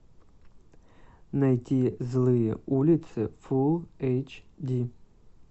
найти злые улицы фул эйч ди